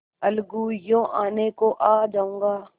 अलगूयों आने को आ जाऊँगा